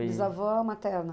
materna?